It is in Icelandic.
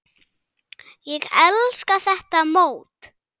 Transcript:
Ég elska þetta mót.